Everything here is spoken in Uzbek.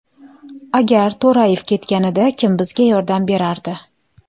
Agar To‘rayev ketganida, kim bizga yordam berardi?